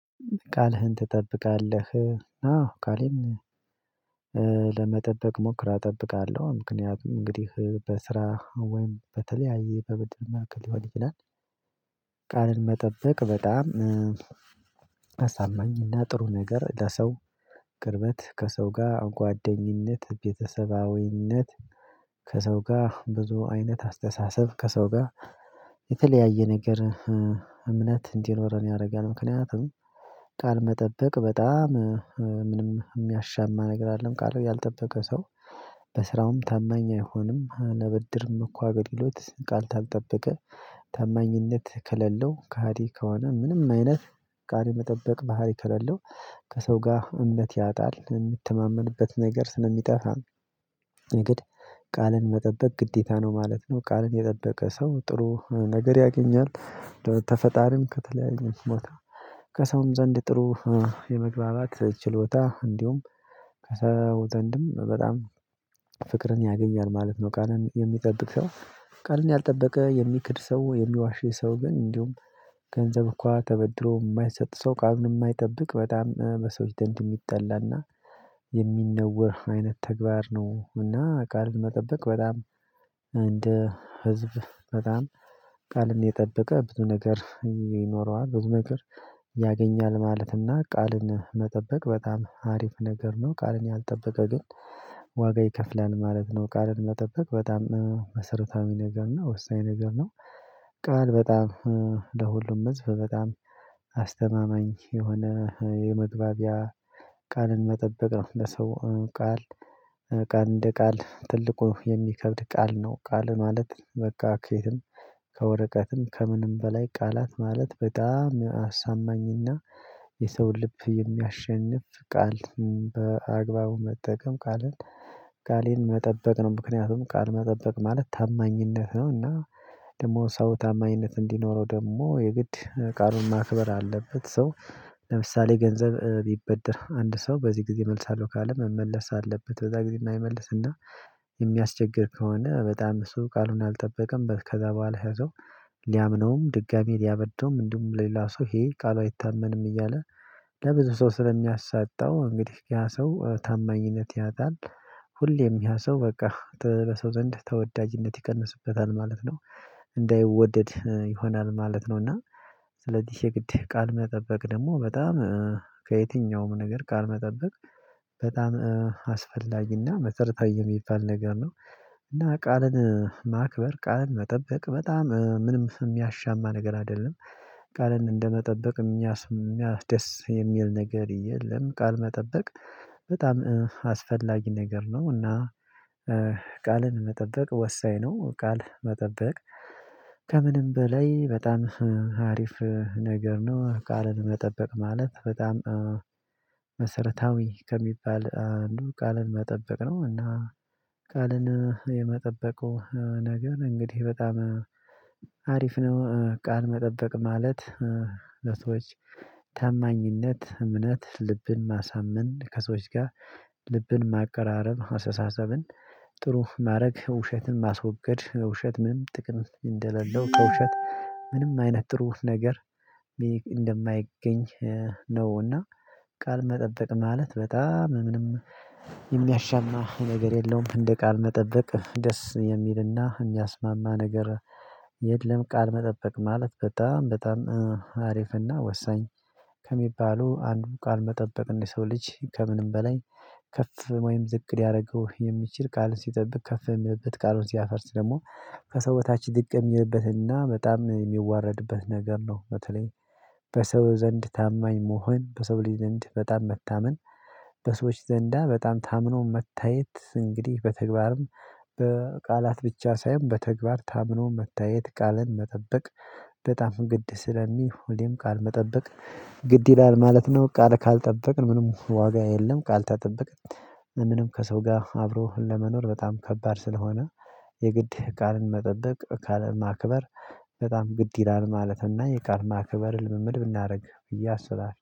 ቃልህን ትጠብቃለህ? አዎ ቃሌም ለመጠበቅ እሞክራለው እጠብቃለው ምክንያቱም እንግዲህ በስራ ወይም በተለያየ በመጠበቅ ሊሆን ይችላል። ቃልን መጠበቅ በጣም አሳማኝና ጥሩ ነገር ለሰው ቅርበት ከሰው ጋ ጓደኝነት ቤተሰባዊነት ከሰው ጋ ብዙ አይነት አስተሳሰብ ከሰው ጋ የተለያየ ነገር እምነት እንዲኖረን ያረጋል። ምክንያቱም ቃል መጠበቅ በጣም ምንም የሚያሻማ ነገር አይደለም ቃል ያልጠበቀ ሰው በስራውም ታማኝ አይሆንም። አላበድርም እኮ አገልግሎት ቃል ካልጠበቀ ታማኝነት ከሌለው ከሃዲ ከሆነ ምንም አይነት ቃል የመጠበቅ ባህሪ ከሌለው ከሰው ጋ እምነት ያጣል የምተማመንበት ነገር ስለሚጠፋ። ነገር ቃልን መጠበቅ ግዴታ ነው ማለት ነው። ቃልን የጠበቀ ሰው ጥሩ ነገር ያገኛል። ከፈጣሪም ከተለያዩ ቦታ ከሰውም ዘንድ ጥሩ የመግባባት ችሎታ እንዲሁም ከሰው ዘንድም በጣም ፍቅርን ያገኛል ማለት ነው። ቃልን የሚጠብቅ ሰው ቃልን ያልጠበቀ የሚክድ ሰው የሚዋሽ ሰው ግን እንዲሁም ገንዘብ እንኳን ተበድሮ የማይሰጥ ሰው ቃል የማይጠብቅ በጣም በሰዎች ዘንድ የሚጠላና የሚነውር አይነት ተግባር ነው። እና ቃል መጠበቅ በጣም እንደ ህዝብ በጣም ቃልን የጠበቀ ብዙ ነገር ይኖረዋል ብዙ ነገር ያገኛል ማለት እና ቃልን መጠበቅ በጣም አሪፍ ነገር ነው። ቃልን ያልጠበቀ ግን ዋጋ ይከፍላል ማለት ነው። ቃልን መጠበቅ በጣም መሰረታዊ ነገር ነው ወሳኝ ነገር ነው። ቃል በጣም ለሁሉም ህዝብ በጣም አስተማማኝ የሆነ የመግባቢያ ቃልን መጠበቅ ነው። ለሰው ቃል ቃል እንደ ቃል ትልቁ የሚከብድ ቃል ነው ቃል ማለት በቃ ከየትም ከወረቀትም ከምንም በላይ ቃላት ማለት በጣም አሳማኝና የሰው ልብ የሚያሸንፍ ቃል በአግባቡ መጠቀም ቃልን ቃሌን መጠበቅ ነው። ምክንያቱም ቃል መጠበቅ ማለት ታማኝነት ነው። እና ደሞ ሰው ታማኝነት እንዲኖረው ደሞ የግድ ቃሉን ማክበር አለበት። ሰው ለምሳሌ ገንዘብ ቢበደር አንድ ሰው በዚህ ጊዜ መልሳለው ካለ መመለስ ባለበት በዛ ጊዜ እማይመልስና የሚያስቸግር ከሆነ በጣም እሱ ቃሉን አልጠበቀም። ከዛ በሃላ ያ ሰው ሊያምነውም ድጋሚ ሊያበድረውም እንዲሁም ሌላ ሰው ይሄ ቃሉ አይታመንም እያለ ለብዙ ሰው ስለሚያሳጣው እንግዲህ ያ ሰው ታማኝነት ያጣል። ሁሌም ያ ሰው በቃ በሰው ዘንድ ተወዳጅነት ይቀንስበታል ማለት ነው። እንዳይወደድ ይሆናል ማለት ነው። እና ስለዚህ የግድ ቃል መጠበቅ ደሞ በጣም ከየትኛውም ነገር ቃል መጠበቅ በጣም አስፈላጊና መሰረታዊ የሚባል ነገር ነው። እና ቃልን ማክበር ቃል መጠበቅ በጣም ምንም ስም የሚያሻማ ነገር አይደለም። ቃልን እንደመጠበቅ የሚያስደስት ነገር የለም። ቃል መጠበቅ በጣም አስፈላጊ ነገር ነው። እና ቃልን መጠበቅ ወሳኝ ነው። ቃል መጠበቅ ከምንም በላይ በጣም አሪፍ ነገር ነው። ቃልን መጠበቅ ማለት በጣም መሰረታዊ ከሚባል አንድ ቃልን መጠበቅ ነው። እና ቃልን የመጠበቁ ነገርን እንግዲህ በጣም አሪፍ ነው። ቃል መጠበቅ ማለት ለሰዎች ታማኝነት እምነት ልብን ማሳመን ከሰዎች ጋር ልብን ማቀራረብ አሰተሳሰብን ጥሩ ማረግ ውሸትን ማስወገድ ውሸት ምንም ጥቅም እንደሌለው ከውሸት ምንም አይነት ጥሩ ነገር እንደማይገኝ ነውና። ቃል መጠበቅ ማለት በጣም ምንም የሚያሻማ ነገር የለውም። እንደ ቃል መጠበቅ ደስ የሚልና የሚያስማማ ነገር የለም። ቃል መጠበቅ ማለት በጣም በጣም አሪፍና ወሳኝ ከሚባሉ አንዱ ቃል መጠበቅ እንደ ሰው ልጅ ከምንም በላይ ከፍ ወይም ዝቅ ሊያረገው የሚችል ቃልን ሲጠብቅ ከፍ የሚልበት ቃሉን ሲያፈርስ ደሞ ከሰው በታች ድቅን ይለበትና በጣም የሚዋረድበት ነገር ነው። በተለይ በሰው ዘንድ ታማኝ መሆን በሰው ልጅ ዘንድ በጣም መታመን በሰዎች ዘንዳ በጣም ታምኖ መታየት እንግዲህ በተግባርም በቃላት ብቻ ሳይሆን በተግባር ታምኖ መታየት ቃልን መጠበቅ በጣም ግድ ስለሚሆን ቃል መጠበቅ ግድ ይላል ማለት ነው። ቃል ካልጠበቅን ምንም ዋጋ የለም። ቃል ከጠበቅን ምንም ከሰው ጋ አብሮህን ለመኖር በጣም ከባድ ስለሆነ። የግድ ቃልን መጠበቅ ቃል ማክበር በጣም ግድ ይላል ማለፍና የቃል ማክበር ልምምድ ብናደርግ ያሰባል